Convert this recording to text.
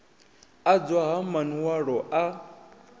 adzwa ha man walo a